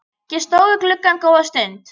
Ég stóð við gluggann góða stund.